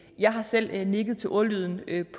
jeg har selv nikket til ordlyden